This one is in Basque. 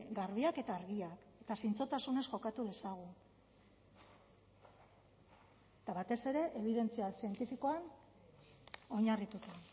garbiak eta argiak eta zintzotasunez jokatu dezagun eta batez ere ebidentzia zientifikoan oinarrituta